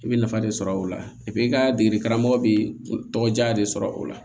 I bɛ nafa de sɔrɔ o la i ka degeli karamɔgɔ bɛ tɔgɔ diya de sɔrɔ o la